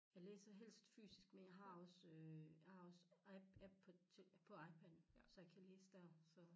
Jeg læser helst fysisk men jeg har også øh jeg har også app på til på iPad'en så jeg kan læse dér så